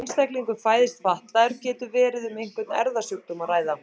Þegar einstaklingur fæðist fatlaður getur verið um einhvern erfðasjúkdóm að ræða.